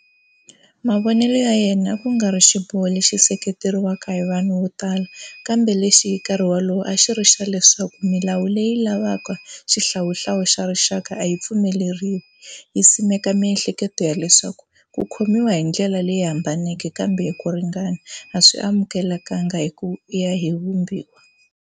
Mavonelo ya yena a ku nga ri xiboho lexi seketeriwaka hi vanhu vo tala kambe lexi hi nkarhi wolowo a xi ri xa leswaku milawu leyi lavaka xihlawuhlawu xa rixaka a yi pfumeleriwa, yi simeka miehleketo ya leswaku "ku khomiwa hi ndlela leyi hambaneke kambe hi ku ringana" a swi amukeleka hi ku ya hi vumbiwa.